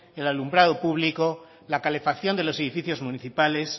el alumbrado público la calefacción de los edificios municipales